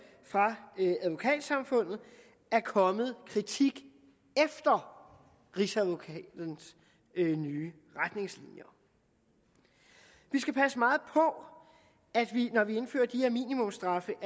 ved advokatsamfundet er kommet med kritik efter rigsadvokatens nye retningslinjer vi skal passe meget på når vi indfører de her minimumsstraffe